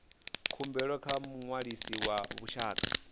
khumbelo kha muṅwalisi wa vhushaka